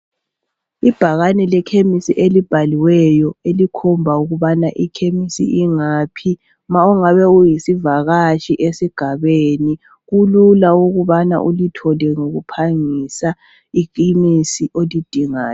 Ibhakane lekhemesi elibhaliweyo elikhomba ukuba ikhemisi ingaphi. Ma ungabe uyisivakatshi esigabeni kulula ukubana ulithole ngokuphangisa iphilisi olidingayo.